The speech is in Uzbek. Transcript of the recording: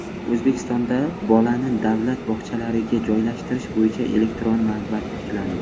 O‘zbekistonda bolani davlat bog‘chalariga joylashtirish bo‘yicha elektron navbat tiklandi.